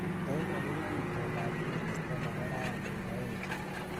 Teep agoba itondab koristo nebo raini ngoeche